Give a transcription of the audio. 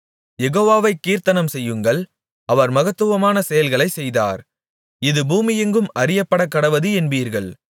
யெகோவாவைக் கீர்த்தனம்செய்யுங்கள் அவர் மகத்துவமான செயல்களைச் செய்தார் இது பூமியெங்கும் அறியப்படக்கடவது என்பீர்கள்